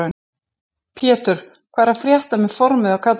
Pétur: Hvað er að frétta með formið á kallinum?